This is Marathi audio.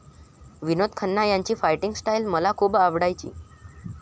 विनोद खन्ना यांची फायटिंग स्टाईल मला खूप आवडायची.